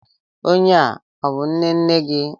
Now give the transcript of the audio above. Onye a, ọ bú nnenne gị?